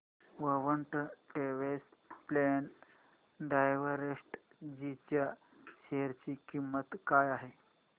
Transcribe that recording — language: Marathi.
क्वान्ट टॅक्स प्लॅन डायरेक्टजी च्या शेअर ची किंमत काय आहे